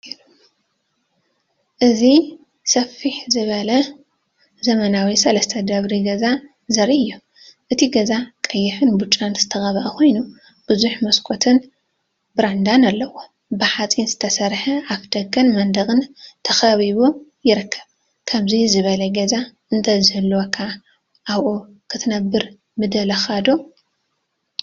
እዚ ስፍሕ ዝበለ ዘመናዊ ሰለስተ ደርቢ ገዛ ዘርኢ እዩ። እቲ ገዛ ቀይሕን ብጫን ዝተቐብአ ኮይኑ፡ ብዙሕ መስኮትን ብራንዳን ኣለዎ። ብሓጺን ዝተሰርሐ ኣፍደገን መንደቕን ተኸቢቡ ይርከብ። ከምዚ ዝበለ ገዛ እንተዝህልወካ ኣብኡ ክትነብር ምደለኻ ዶ?